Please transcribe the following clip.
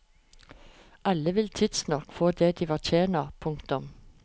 Alle vil tidsnok få det de fortjener. punktum